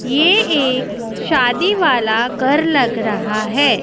ये एक शादी वाला घर लग रहा है।